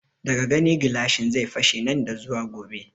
Daga gani gilashin zai fashe nan da zuwa gobe